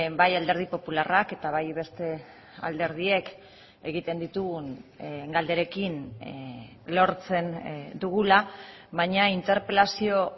bai alderdi popularrak eta bai beste alderdiek egiten ditugun galderekin lortzen dugula baina interpelazio